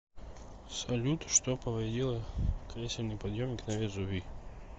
салют что повредило кресельный подъемник на везувий